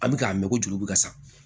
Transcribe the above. An bɛ k'a mɛn ko juru bɛ ka sa